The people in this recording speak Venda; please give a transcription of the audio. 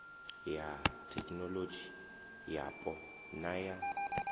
ya thekinolodzhi yapo na ya